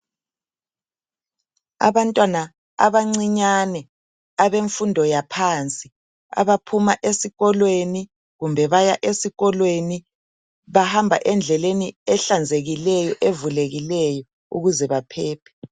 Abantwana abancinyane abemfundo yaphansi abaphuma esikolweni kumbe baya esikolweni bahamba endleleni ehlanzekileyo evulekileyo ukuze baphephe.